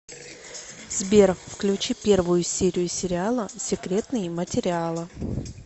сбер включи первую серию сериала секретные материала